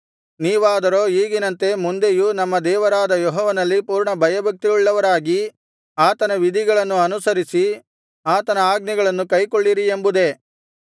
ನೀವಾದರೋ ಈಗಿನಂತೆ ಮುಂದೆಯೂ ನಮ್ಮ ದೇವರಾದ ಯೆಹೋವನಲ್ಲಿ ಪೂರ್ಣ ಭಯಭಕ್ತಿಯುಳ್ಳವರಾಗಿ ಆತನ ವಿಧಿಗಳನ್ನು ಅನುಸರಿಸಿ ಆತನ ಆಜ್ಞೆಗಳನ್ನು ಕೈಕೊಳ್ಳಿರಿ ಎಂಬುದೇ